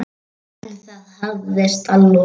En það hafðist að lokum.